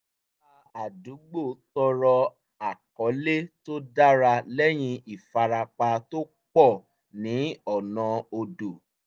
ará àdúgbò tọrọ àkọlé tó dára lẹ́yìn ìfarapa tó pọ̀ ní ọ̀nà odò